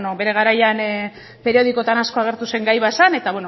bueno bere garaian periodikoetan asko agertu zen gai bat zen eta